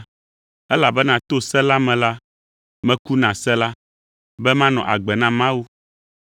“Elabena to se la me la, meku na se la, be manɔ agbe na Mawu.